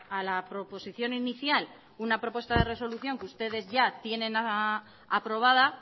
a la proposición inicial una propuesta de resolución que ustedes ya tienen aprobada